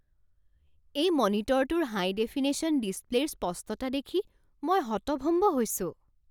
এই মনিটৰটোৰ high definition ডিছপ্লে'ৰ স্পষ্টতা দেখি মই হতভম্ব হৈছোঁ।